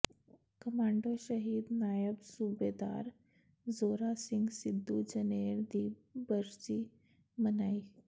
commando ਸ਼ਹੀਦ ਨਾਇਬ ਸੂਬੇਦਾਰ ਜ਼ੋਰਾ ਸਿੰਘ ਸਿੱਧੂ ਜਨੇਰ ਦੀ ਬਰਸੀ ਮਨਾਈ